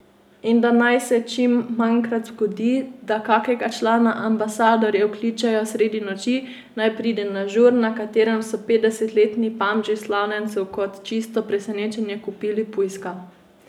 In da naj se čim manjkrat še zgodi, da kakega člana Ambasadorjev kličejo sredi noči, naj pride na žur, na katerem so petdesetletni pamži slavljencu kot čisto presenečenje kupili pujska.